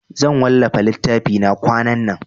Zan wallafa littafina kwanan nan.